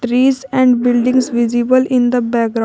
trees and buildings visible in the background.